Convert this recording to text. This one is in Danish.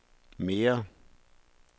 mere